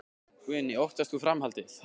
Guðný: Óttast þú framhaldið?